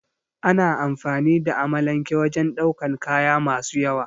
Ana amfani da amalanke wajen daukan kaya masu yawa